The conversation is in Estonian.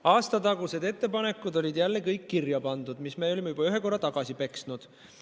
Aastatagused ettepanekud, mis me olime juba ühe korra tagasi peksnud, olid jälle kõik kirja pandud.